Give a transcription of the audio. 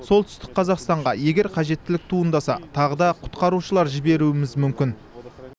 солтүстік қазақстанға егер қажеттілік туындаса тағы да құтқарушылар жіберуіміз мүмкін